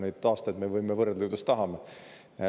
Neid aastaid me võime ju võrrelda, kuidas tahame.